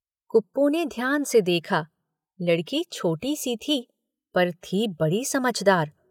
कुप्पू ने ध्यान से देखा, लड़की छोटी-सी थी, पर थी बड़ी समझदार।